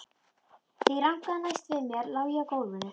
Þegar ég rankaði næst við mér lá ég á gólfinu.